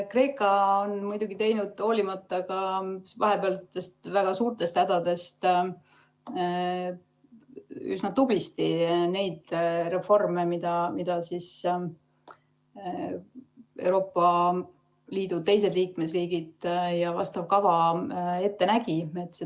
Kreeka on muidugi teinud, hoolimata vahepealsetest väga suurtest hädadest, üsna tublisti neid reforme, mida Euroopa Liidu teised liikmesriigid ja vastav kava ette nägid.